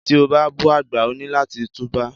Tí o bá bú àgbà, o ní láti tú bá.